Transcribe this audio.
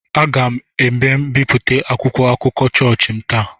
Aga m ebipụta akwụkwọ akụkọ chọọchị m taa.